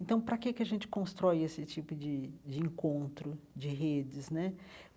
Então, para que que a gente constrói esse tipo de de encontro de redes né?